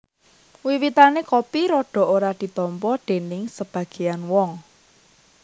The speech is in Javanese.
Wiwitané kopi rada ora ditampa déning sebagéyan wong